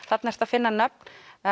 þarna ertu að finna nöfn